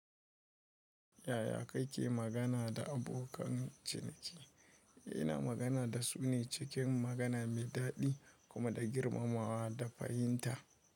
Yaya kake magana da abokan ciniki? Ina magana da su ne cikin magana mai daɗi kuma da girmamawa da fahimta.